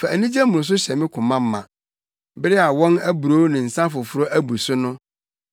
Fa anigye mmoroso hyɛ me koma ma bere a wɔn aburow ne nsa foforo abu so no.